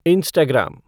Instagram